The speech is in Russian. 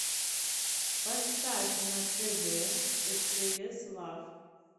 поставь на тв стс лав